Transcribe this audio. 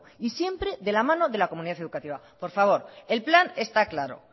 y siempre de la mano de la comunidad educativa por favor el plan está claro